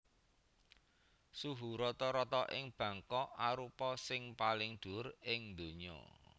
Suhu rata rata ing Bangkok arupa sing paling dhuwur ing donya